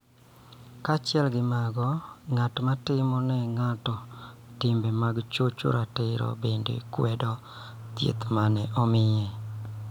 Kaachiel gi mago, ng�at ma timo ne ng�atno timbe mag chocho ratiro bende kwedo thieth ma ne omiye.